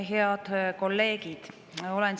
Head kolleegid!